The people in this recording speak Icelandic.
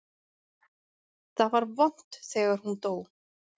Það var vont þegar hún dó.